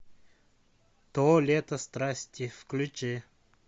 то лето страсти включи